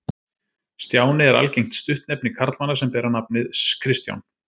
Stjáni er algengt stuttnefni karlmanna sem bera nafið Kristján.